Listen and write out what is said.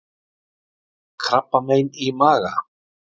KRABBAMEIN Í MAGA